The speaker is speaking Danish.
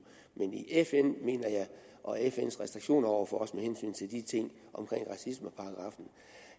men fn og fns restriktioner over for os med hensyn til de ting racismeparagraffen